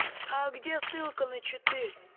а где ссылка на читы